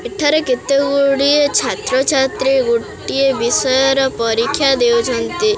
ଏଠାରେ କେତେକ ଗୁଡ଼ିଏ ଛାତ୍ର ଛାତ୍ରୀ ଗୋଟିଏ ବିଷୟର ପରୀକ୍ଷା ଦେଉଛନ୍ତି।